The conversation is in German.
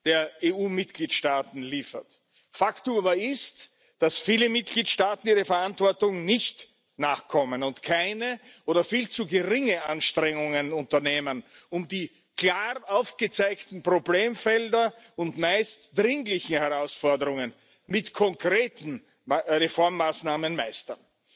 der EU Mitgliedstaaten liefert. Faktum aber ist, dass viele Mitgliedstaaten ihrer Verantwortung nicht nachkommen und keine oder viel zu geringe Anstrengungen unternehmen, um die klar aufgezeigten Problemfelder und meist dringlichen Herausforderungen mit konkreten Reformmaßnahmen zu meistern,